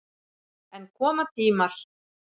En koma tímar.